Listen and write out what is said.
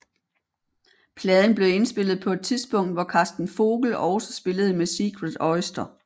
Pladen blev indspillet på et tidspunkt hvor Karsten Vogel også spillede med Secret Oyster